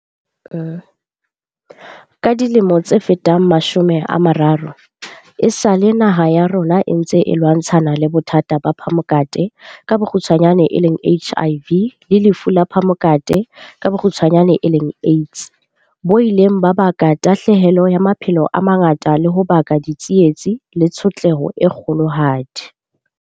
Ka dilemo tse fetang mashome a mararo, esale naha ya rona e ntse e lwantshana le bothata ba phamokate, HIV le lefu la phamokate, AIDS, bo ileng ba baka tahlahelo ya maphelo a mangata le ho baka ditsietsi le tshotleho e kgolohadi.